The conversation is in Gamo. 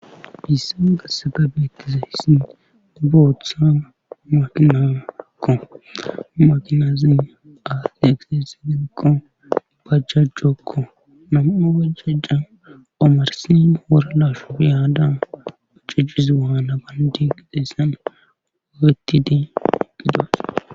Issan gassagabe etizayssin booththa makinaakko makinazin aaf egsesidenko bajjajjokko nama waajja omarsin woralashu iyaada ucicizi waala gan diqixessanofetidi igidos.